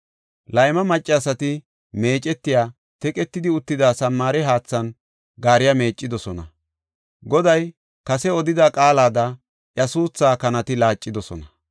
Layma maccasati meecetiya, teqetidi uttida Samaare haathan gaariya meeccidosona. Goday kase odida qaalada iya suuthaa kanati laacidosona.